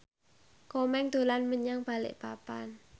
Komeng dolan menyang Balikpapan